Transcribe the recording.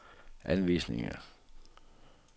anvisninger